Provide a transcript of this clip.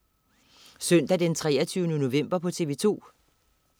Søndag den 23. november - TV2: